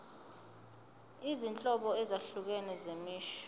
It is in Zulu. izinhlobo ezahlukene zemisho